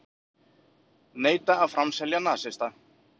Neita að framselja nasista